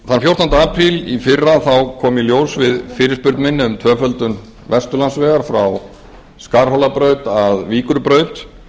þann fjórtánda apríl í fyrra kom í ljós við fyrirspurn minni um tvöföldun vesturlandsvegar frá skarhólabraut að víkurbraut